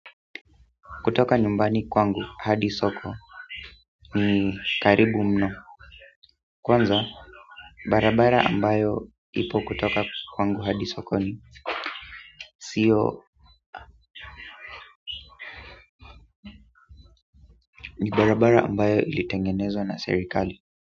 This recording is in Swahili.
Kutoka nyumbani kwangu hadi soko ni karibu mno kwanza barabara ambayo ipo kutoka kwangu hadi soko ni sio ni barabara ambayo ilitengenezwa na serikali.